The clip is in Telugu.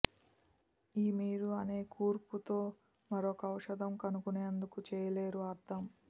ఈ మీరు అదే కూర్పు తో మరొక ఔషధం కనుగొనేందుకు చేయలేరు అర్థం